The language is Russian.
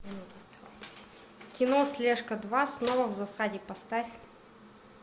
кино слежка два снова в засаде поставь